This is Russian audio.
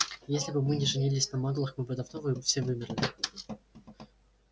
если бы мы не женились на маглах мы бы давно все вымерли